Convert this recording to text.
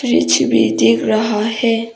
पीछे भी दिख रहा है।